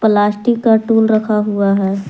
Plastic का tool रखा हुआ है।